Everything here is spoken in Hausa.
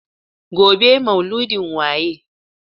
Gobe ​​maulidin waye?